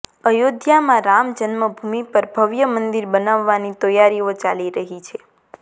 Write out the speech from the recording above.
અયોધ્યામાં રામ જન્મભૂમિ પર ભવ્ય મંદિર બનાવવાની તૈયારીઓ ચાલી રહી છે